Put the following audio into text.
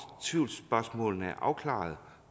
tvivlsspørgsmålene er afklaret